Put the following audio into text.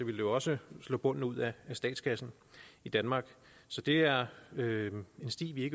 jo også slå bunden ud af statskassen i danmark så det er en sti vi